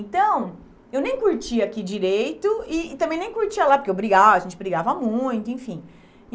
Então, eu nem curtia aqui direito e também nem curtia lá, porque eu brigava, a gente brigava muito, enfim.